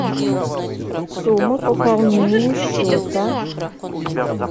сумма пополнения счета